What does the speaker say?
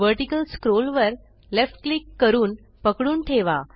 vertical scroll वर left click करून पकडून ठेवा